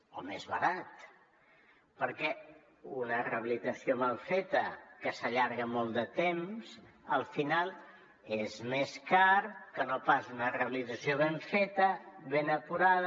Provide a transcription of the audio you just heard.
o més barat perquè una rehabilitació mal feta que s’allarga molt de temps al final és més cara que no pas una rehabilitació ben feta ben acurada